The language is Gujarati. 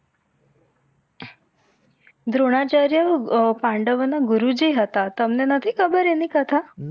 દ્રોણાચાર્ય પાંડવોના ગુરુજી હતા. તમને નથી ખબર એમની કથા?